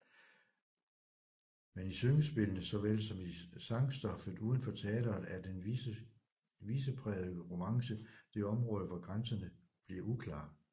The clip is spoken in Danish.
Men i syngespillene såvel som i sangstoffet uden for teatret er den viseprægede romance det område hvor grænserne bliver uklare